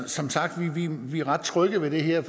som sagt er vi ret trygge ved det her